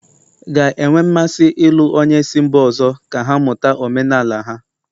ga-enwe mmasị ịlụ onye si mba ọzọ ka ha mụta omenala ha